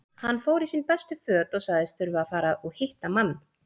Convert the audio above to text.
Hann fór í sín bestu föt og sagðist þurfa að fara og hitta mann.